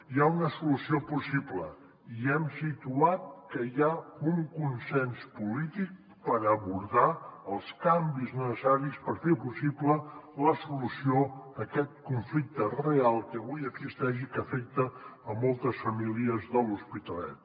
hi ha una solució possible i hem situat que hi ha un consens polític per abordar els canvis necessaris per fer possible la solució a aquest conflicte real que avui existeix i que afecta moltes famílies de l’hospitalet